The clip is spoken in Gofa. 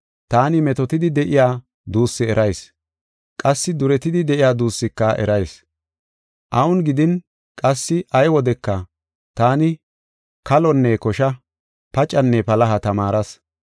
Taani metootetidi de7iya duussi erayis; qassi duretidi de7iya duussika erayis. Awun gidin qassi ay wodeka taani kalonne kosha, pacenne palaha tamaaras.